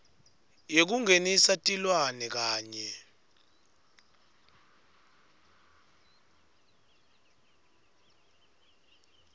yekungenisa tilwane kanye